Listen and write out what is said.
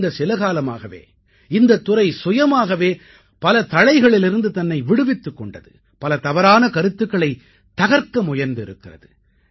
கடந்த சில காலமாகவே இந்தத்துறை சுயமாகவே பல தளைகளிலிருந்து தன்னை விடுவித்துக் கொண்டது பல தவறான கருத்துக்களைத் தகர்க்க முயன்றிருக்கிறது